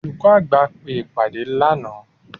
olukọ àgbá pe ìpade laná.